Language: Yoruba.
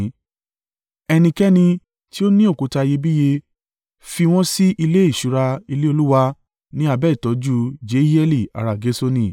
Ẹnikẹ́ni tí ó ní òkúta iyebíye fi wọn sí ilé ìṣúra ilé Olúwa ní abẹ́ ìtọ́jú Jehieli ará Gerṣoni.